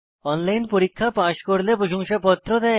online পরীক্ষা pass করলে প্রশংসাপত্র দেয়